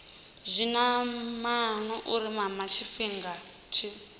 zwinamana u mama tshifhinga tshi